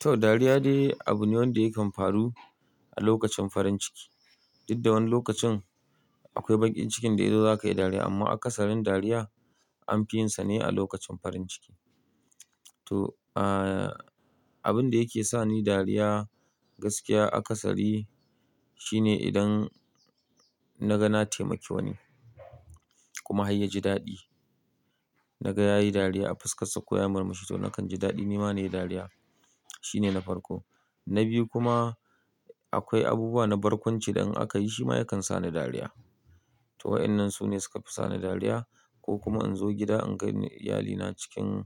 To, dariya dai abu ne wanda yakan faru a lokacin farin ciki. Duk da wani lokacin akwai bakin cikin da yazo za ka yi dariya amma a kasarin dariya. Anfi yinsa ne a lokacin farin ciki. To, ah, abin da yake sa ni dariya gaskiya akasari shine idan na ga na taimaki wani kuma har ya ji daɗi. Na ga ya yi dariya a fuskar sa ko ya murmushi to nakan ji daɗi ni ma nayi dariya. Shi ne na farko. Na biyu kuma akwai abubuwa na barkwanci da in aka yi shi ma yakan sa ni dariya. To wa'inan su ne suka fi sa ni dariya ko kuma in zo gida in ga iyalina cikin